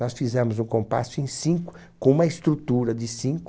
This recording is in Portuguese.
Nós fizemos o compasso em cinco, com uma estrutura de cinco.